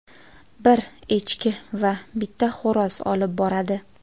bir echki va bitta xo‘roz olib boradi.